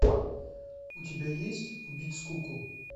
у тебя есть убить скуку